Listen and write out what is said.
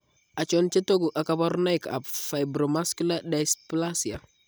Achon chetogu ak kaborunoik ab Fibromuscular dysplasia?